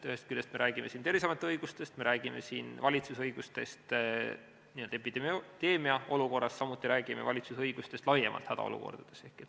Ühest küljest me räägime siin Terviseameti õigustest, me räägime siin valitsuse õigustest epideemiaolukorras, samuti räägime valitsuse õigustest laiemalt hädaolukordades.